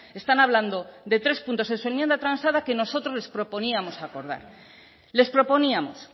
están hablando de tres puntos en su enmienda transada que nosotros les proponíamos acordar les proponíamos